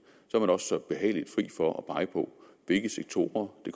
så så behageligt fri for at pege på hvilke sektorer det